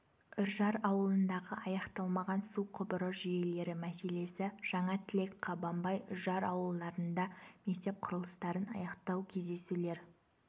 үржар ауылындағы аяқталмаған су құбыры жүйелері мәселесі жаңа тілек қабанбай үржар ауылдарында мектеп құрылыстарын аяқтау кездесулер